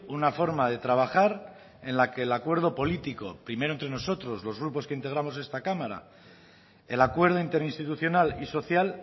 una forma de trabajar en la que el acuerdo político primero entre nosotros los grupos que integramos esta cámara el acuerdo interinstitucional y social